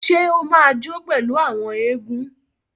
Ṣe o ma jó pẹlu àwọn egun?